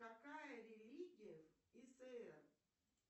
какая религия иср